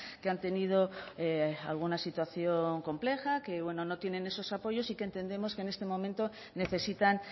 que han tenido alguna situación compleja que bueno no tienen esos apoyos y que entendemos que en este momento necesitan